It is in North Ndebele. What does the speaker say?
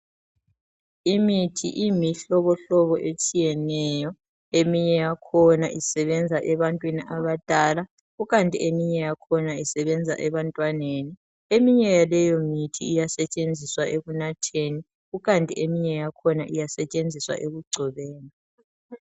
Imithi iyimihlobohlobo etshiyeneyo eminye yakhona isebenza ebantwini abadala kukanti eminye yakhona isebenza ebantwaneni, eminye yaleyo mithi iyasetshenziswa ekunatheni kukanti eminye yakhona iyasetshenziswa ekugcobeni.